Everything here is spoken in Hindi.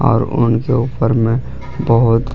और उनके ऊपर में बहुत--